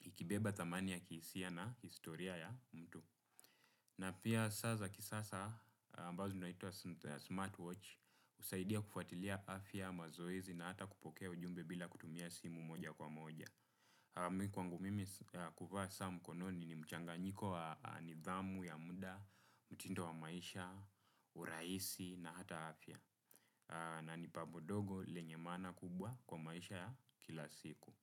ikibeba thamani ya kihisia na historia ya mtu. Na pia saa za kisasa ambazo zinaitwa smart watch husaidia kufuatilia afya, mazoezi na hata kupokea ujumbe bila kutumia simu moja kwa moja. Kwangu mimi kuvaa saa mkononi ni mchanganyiko wa nidhamu ya muda, mtindo wa maisha, urahisi na hata afya na ni pambo dogo lenye maana kubwa kwa maisha ya kila siku.